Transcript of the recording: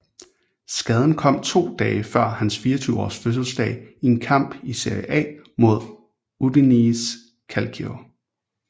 Skaden kom to dage før hans 24 års fødselsdag i en kamp i Serie A mod Udinese Calcio